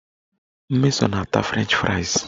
Mmeso na-ata frenchị frais